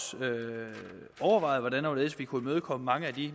overvejet hvordan og hvorledes vi kunne imødekomme mange af de